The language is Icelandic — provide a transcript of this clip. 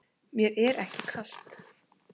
Mér er ekki kalt.